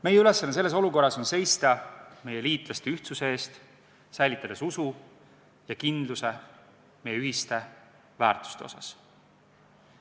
Meie ülesanne selles olukorras on seista meie liitlaste ühtsuse eest, säilitades usu ja kindluse meie ühiste väärtuste osas.